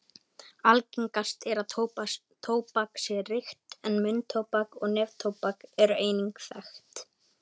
Algengast er að tóbak sé reykt en munntóbak og neftóbak eru einnig þekkt.